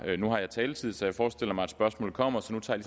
nu har jeg taletid så jeg forestiller mig at spørgsmålet kommer så nu tager